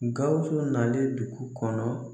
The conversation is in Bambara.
Gawusu nalen duku kɔnɔ